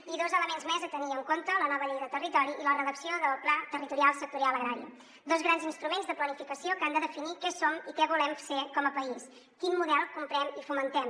i dos elements més a tenir en compte la nova llei de territori i la redacció del pla territorial sectorial agrari dos grans instruments de planificació que han de definir què som i què volem ser com a país quin model comprem i fomentem